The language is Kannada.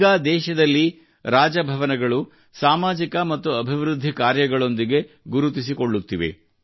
ಈಗ ದೇಶದಲ್ಲಿ ರಾಜಭವನಗಳು ಸಾಮಾಜಿಕ ಮತ್ತು ಅಭಿವೃದ್ಧಿ ಕಾರ್ಯಗಳೊಂದಿಗೆ ಗುರುತಿಸಿಕೊಳ್ಳಲಾಗುತ್ತಿದೆ